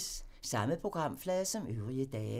Samme programflade som øvrige dage